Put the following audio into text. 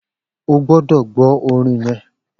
O gbọ́dọ̀ gbọ orin yẹn